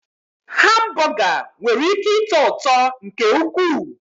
Hambọga nwere ị́ké ịtọ ụtọ nke ukwuu.